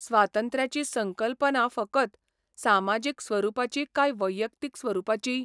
स्वातंत्र्याची संकल्पना फकत सामाजीक स्वरूपाची काय वैयक्तीक स्वरुपाचीय?